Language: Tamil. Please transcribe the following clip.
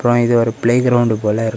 அப்புறம் இது ஒரு ப்ளே கிரவுண்ட் போல இருக்.